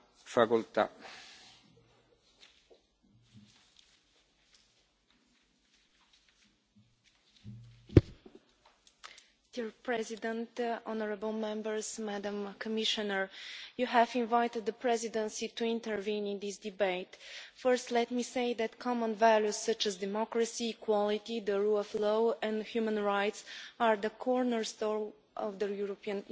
Mr President, honourable Members, Madam Commissioner, you have invited the Presidency to intervene in this debate. First, let me say that common values such as democracy, equality, the rule of law and human rights are the cornerstone of the European Union.